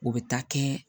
O bɛ taa kɛ